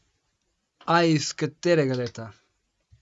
A iz katerega leta?